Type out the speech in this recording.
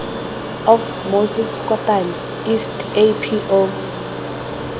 of moses kotane east apo